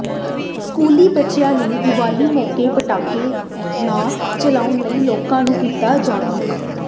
ਸਕੂਲੀ ਬੱਚਿਆਂ ਨੇ ਦੀਵਾਲੀ ਮੌਕੇ ਪਟਾਕੇ ਨਾ ਚਲਾਉਣ ਲਈ ਲੋਕਾਂ ਨੂੰ ਕੀਤਾ ਜਾਗਰੂਕ